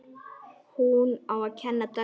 Hún á að kenna dönsku.